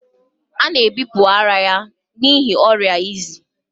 A na-ebipụ ara ya n'ihi ọrịa izi